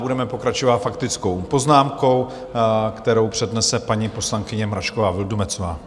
Budeme pokračovat faktickou poznámkou, kterou přednese paní poslankyně Mračková Vildumetzová.